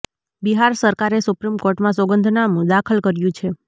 બિહાર સરકારે સુપ્રીમ કોર્ટમાં સોગંદનામું દાખલ કર્યુ છે